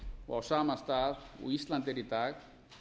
og á sama stað og ísland er í dag